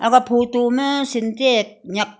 aga photo ma santak nyak--